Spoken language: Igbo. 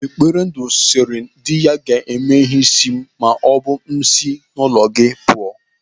Eberendu siri diya, "Gaa mee ihe isi m maọbụ m si n'ụlọ gị pụọ".